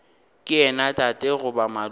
ke yena tate goba malome